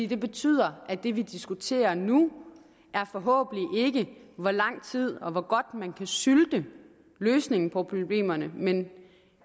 det betyder at det vi diskuterer nu forhåbentlig ikke hvor lang tid og hvor godt man kan sylte løsningen på problemerne